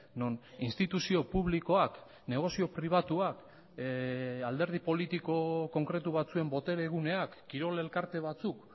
non instituzio publikoak negozio pribatuak alderdi politiko konkretu batzuen botere guneak kirol elkarte batzuk